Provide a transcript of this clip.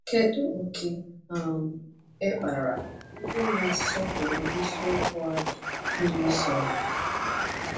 Kedu ókè um e kpara ndị na-asọpụrụ eziokwu ahụ ịlụso ọgụ?